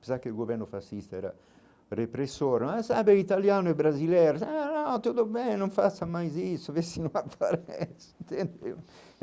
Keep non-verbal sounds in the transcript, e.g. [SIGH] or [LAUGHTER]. Pensava que o governo fascista era repressor, ãh sabe, italiano e brasileiro, [UNINTELLIGIBLE] tudo bem, não faça mais isso, vê se não aparece entendeu. [LAUGHS]